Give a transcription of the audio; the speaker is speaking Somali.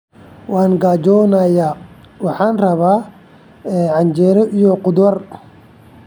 Waan gaajoonayaa, waxaan rabaa canjeero iyo khudaar.